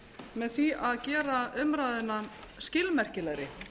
með því að gera umræðuna skilmerkilegri